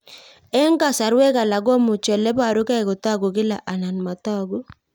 Eng' kasarwek alak komuchi ole parukei kotag'u kila anan matag'u